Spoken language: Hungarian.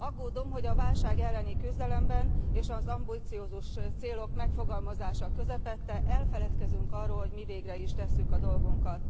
Aggódom, hogy a válság elleni küzdelemben és az ambiciózus célok megfogalmazása közepette elfeledkezünk arról, hogy mi végre is tesszük a dolgunkat.